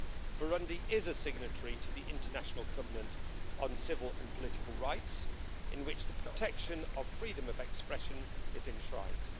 Burundi is a signatory to the International Covenant on Civil and Political Rights, in which the protection of freedom of expression is enshrined.